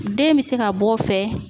Den bɛ se ka bɔ o fɛ